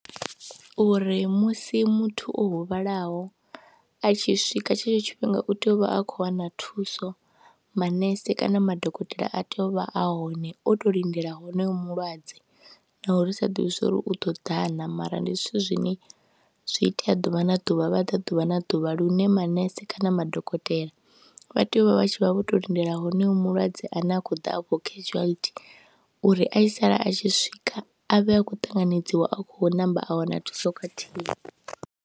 Uri musi muthu o huvhalaho a tshi swika tshetsho tshifhinga u tea u vha a khou wana thuso, manese kana madokotela a tea u vha a hone, o tou lindela honoyo mulwadze naho ri sa ḓivhi zwa uri u ḓo ḓa na mara ndi zwithu zwine zwi itea ḓuvha na ḓuvha, vha ḓa ḓuvha na ḓuvha lune manese kana madokotela vha tea u vha vha tshi vha vho tou lindela honoyoa mulwadze ane a khou ḓa afho casuality uri a tshi sala a tshi swika a vhe a khou ṱanganedziwa, a khou namba a wana thuso khathihi.